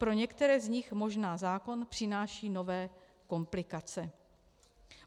Pro některé z nich možná zákon přináší nové komplikace.